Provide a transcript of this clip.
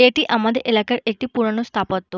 এটি আমাদের এলাকার একটি পুরোনো স্থাপত্য।